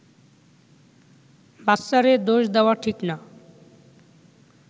বাচ্চারে দোষ দেওয়া ঠিক না